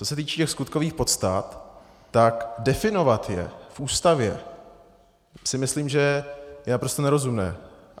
Co se týče těch skutkových podstat, tak definovat je v Ústavě, si myslím, že je naprosto nerozumné.